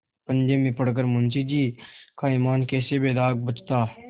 पंजे में पड़ कर मुंशीजी का ईमान कैसे बेदाग बचता